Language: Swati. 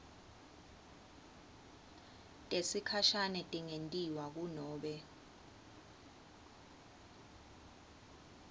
tesikhashane tingentiwa kunobe